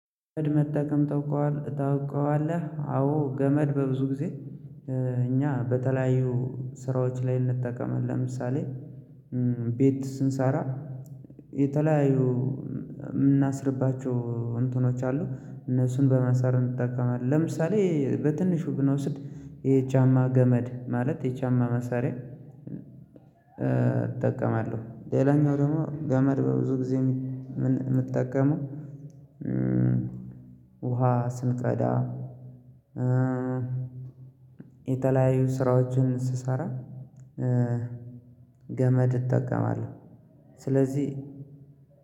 ገመድ መጠቀም ታውቀዋለህ? አዎ ገመድ በብዙ ጊዜ እኛ በተለያዩ ስራዎች ላይ እንጠቀማለን። ለምሳሌ ቤት ስንሰራ የተለያዩ የምናስርባቸው እንትኖች አሉ እነሱን በማሰር እንጠቀማለን። ለምሳሌ በትንሹ ብንወስድ የቻዠጫማ ገመድ ማለት የጫማ ማሰሪያ። እጠቀማለሁ ሌላኛው ደግሞ ገመድ በብዙ ጊዜ የምጠቀመው። ውሃ ስንቀዳ የተለያዩ ስራዎችን ስሰራ ገመድ እጠቀማለሁ። ስለዚህ